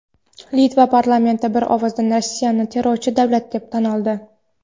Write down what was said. Litva parlamenti bir ovozdan Rossiyani terrorchi davlat deb tan oldi.